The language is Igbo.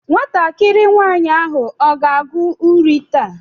Nwatakịrị nwaanyị ahụ ọ ga-agụ uri taa?